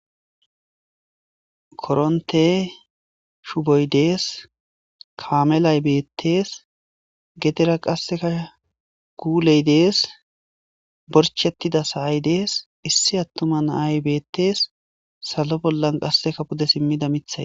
Korontte shuboy des maakelay bettes gedera qaseka kuuley des borchchetida sa7ay des issi atuma nay bettes salo bolan qaseka pudde simida miththay